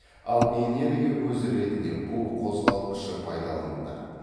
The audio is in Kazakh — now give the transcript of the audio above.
ал энергия көзі ретінде бу қозғалтқышы пайдаланылды